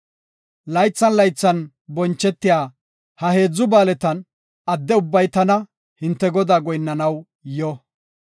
Laythan laythan bonchetiya ha heedzu ba7aaletan adde ubbay tana, hinte Godaa goyinnanaw yo.